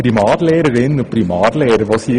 Es geht um die Primarlehrerinnen und Primarlehrer.